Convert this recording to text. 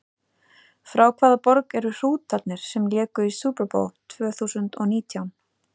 Frá hvaða borg eru Hrútarnir sem léku í Super Bowl tvö þúsund og nítján?